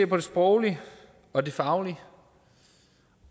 på det sproglige og det faglige